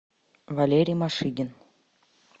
валерий машигин